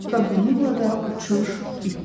Və bununla da uçuş bitdi.